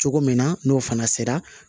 Cogo min na n'o fana sera